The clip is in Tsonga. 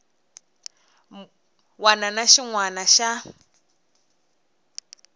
wana na xin wana xa